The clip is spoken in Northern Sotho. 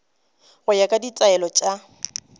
go ya ka ditaelo tša